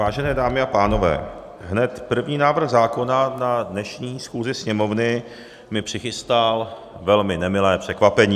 Vážené dámy a pánové, hned první návrh zákona na dnešní schůzi Sněmovny mi přichystal velmi nemilé překvapení.